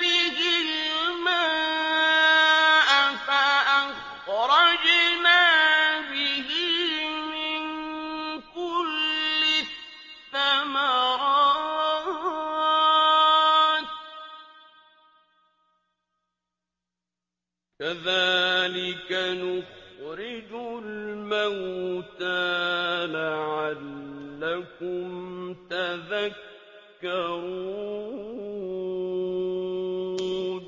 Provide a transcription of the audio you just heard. بِهِ الْمَاءَ فَأَخْرَجْنَا بِهِ مِن كُلِّ الثَّمَرَاتِ ۚ كَذَٰلِكَ نُخْرِجُ الْمَوْتَىٰ لَعَلَّكُمْ تَذَكَّرُونَ